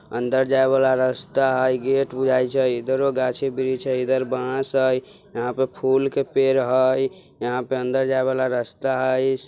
अंदर जायवाला रस्ता हय गेट बुझाय छय इधरो गाछे-ब्रिस हय इधर बांस हय यहां पर फूल के पेड़ हय यहां पे अंदर जायवाला रास्ता हय्इस।